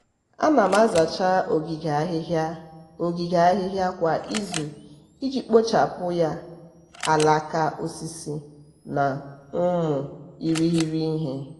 ana m azacha ogige ahịhịa ogige ahịhịa kwa izu iji kpochapụ ya alaka osisi na ụmụ irighiri ihe.